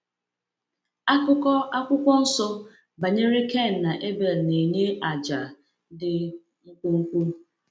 Akụkọ Akwụkwọ Nsọ banyere Kain na Abel na-enye àjà dị mkpụmkpụ.